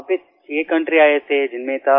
वहां पे छह सिक्सकाउंट्री आये थेजिनमें था